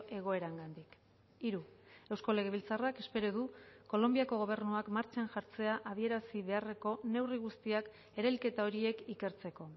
egoerangatik hiru eusko legebiltzarrak espero du kolonbiako gobernuak martxan jartzea adierazi beharreko neurri guztiak erailketa horiek ikertzeko